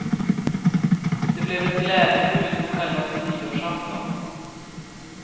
Det blev ett glädjebud på självaste nyårsafton.